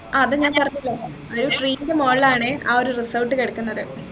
ആഹ് അത് ഞാൻ പറഞ്ഞല്ലോ ഒരു tree ന്റെ മോളിലാണ് ആ ഒരു resort കിടക്കുന്നത്